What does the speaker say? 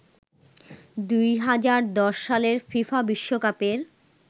২০১০ সালের ফিফা বিশ্বকাপের